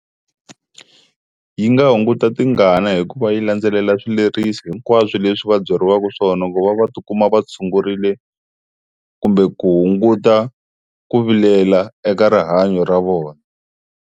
Yi nga hunguta tingana hikuva yi landzelela swileriso hinkwaswo leswi va byeriwaka swona ku va va tikuma va tshungurile kumbe ku hunguta ku vilela eka rihanyo ra vona.